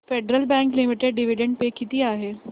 federal bank limited dividend pay किती आहे